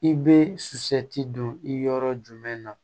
I bɛ su ti don i yɔrɔ jumɛn na